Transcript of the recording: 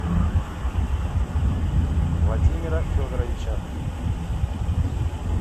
владимира федоровича